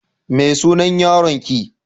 Me sunan yaron ki?